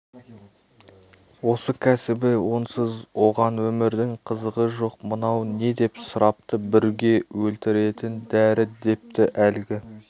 осы кәсібі онсыз оған өмірдің қызығы жоқ мынау не деп сұрапты бүрге өлтіретін дәрі депті әлгі